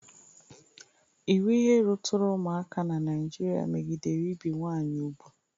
Iwu ihe ruturu ụmụaka n'Naịjịrịa megidere ibi nwaanyị ubu.